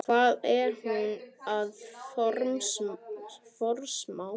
Hvað er hún að forsmá?